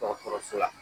Dɔgɔtɔrɔso la